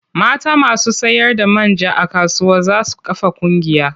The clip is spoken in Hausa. Mata masu sayarda man ja a kasuwa za su kafa ƙungiya.